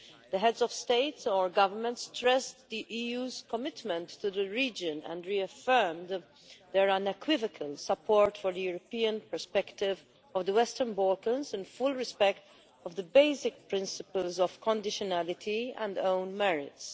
The heads of state or government stressed the EU's commitment to the region and reaffirmed their unequivocal support for the European perspective of the Western Balkans, in full respect of the basic principles of conditionality and own merits.